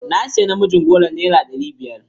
Na siya namijin goron naira ɗari biyar.